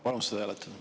Palun seda hääletada.